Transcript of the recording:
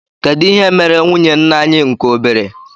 kedụ ihe mere nwụnye ńnà anyị nke obere?